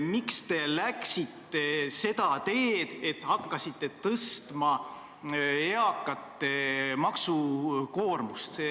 Miks te läksite seda teed, et hakkasite tõstma eakate maksukoormust?